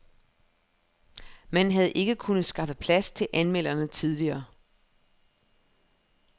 Man havde ikke kunnet skaffe plads til anmelderne tidligere.